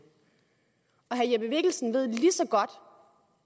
og herre jeppe mikkelsen ved lige så godt